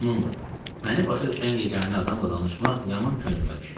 Onunla, məni başa düşən yeganə adamla danışmaq yaman könlümə düşmüşdü.